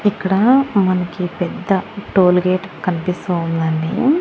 ఇక్కడ మనకి పెద్ద టోల్గేట్ కనిపిస్తూ ఉంది అండి.